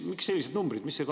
Miks sellised numbrid?